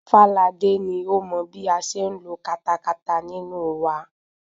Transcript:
Fáladé ni ó mọ bí a ṣe ń lo katakata nínú wa.